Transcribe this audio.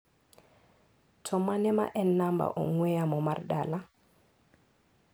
To mane ma en namba ong'ue yamo mar dala?